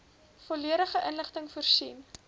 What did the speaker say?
volledige inligting voorsien